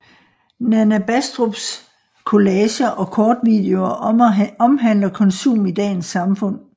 Nana Bastrups collager og kortvideoer omhandler konsum i dagens samfund